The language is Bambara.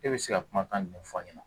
E bɛ se ka kumakan jumɛn fɔ ɲɛna